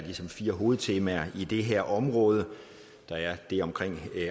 fire hovedtemaer i det her område der er det om